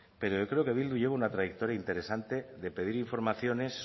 pero yo creo que eh bildu lleva una trayectoria interesante de pedir informaciones